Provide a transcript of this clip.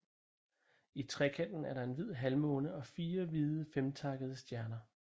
I trekanten er der en hvid halvmåne og fire hvide femtakkede stjerner